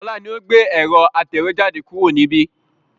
Ọlá ni ó gbé ẹ̀rọ atẹ̀wẹ́jade kúrò níbi